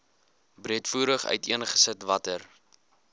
breedvoerig uiteengesit watter